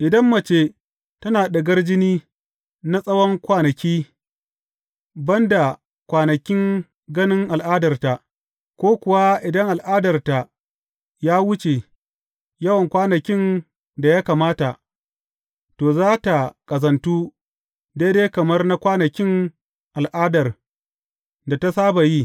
Idan mace tana ɗigar jini na tsawon kwanaki, ban da kwanakin ganin al’adarta, ko kuwa idan al’adarta ya wuce yawan kwanakin da ya kamata, to, za tă ƙazantu daidai kamar na kwanakin al’adar da ta saba yi.